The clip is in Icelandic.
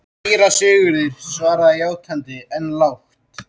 Síra Sigurður svaraði játandi, en lágt.